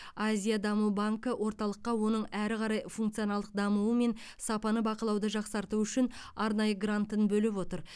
азия даму банкі орталыққа оның әрі қарай функционалдық дамуы мен сапаны бақылауды жақсартуы үшін арнайы грантын бөліп отыр